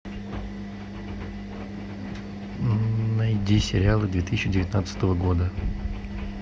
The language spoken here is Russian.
найди сериалы две тысячи девятнадцатого года